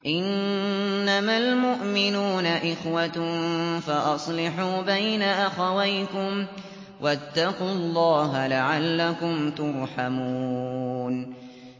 إِنَّمَا الْمُؤْمِنُونَ إِخْوَةٌ فَأَصْلِحُوا بَيْنَ أَخَوَيْكُمْ ۚ وَاتَّقُوا اللَّهَ لَعَلَّكُمْ تُرْحَمُونَ